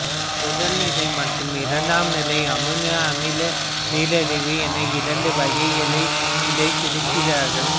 முதல்நிலை மற்றும் இரண்டாம்நிலை அமினோ அமில நீரிழிவு என இரண்டு வகையாக இதைப் பிரிக்கிறார்கள்